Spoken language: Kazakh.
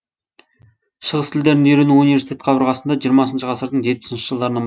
шығыс тілдерін үйрену университет қабырғасында жиырмасыншы ғасырдың жетпісінші жылдарынан